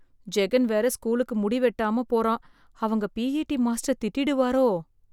ஜெகன் வேற ஸ்கூலுக்கு முடி வெட்டாம போறான் அவங்க பிஇடி மாஸ்டர் திட்டிடுவரோ